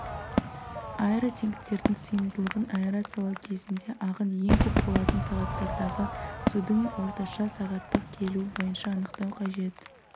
аэротенктердің сыйымдылығын аэрациялау кезінде ағын ең көп болатын сағаттардағы судың орташа сағаттық келуі бойынша анықтау қажет